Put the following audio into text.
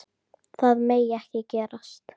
Það megi ekki gerast.